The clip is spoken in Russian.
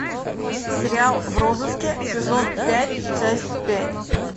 сериал в розыске сезон пять часть пять